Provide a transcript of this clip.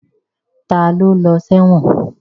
Ta ló lọ sẹ́wọ̀n?